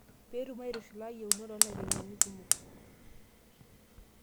Petum aitushulu iyeunot oolaiteng'eni kumok.